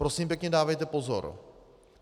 Prosím pěkně, dávejte pozor.